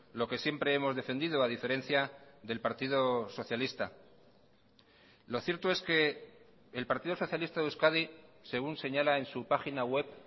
lo que siempre hemos defendido a diferencia del partido socialista lo cierto es que el partido socialista de euskadi según señala en su página web